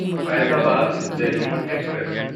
Faizabad Delhi express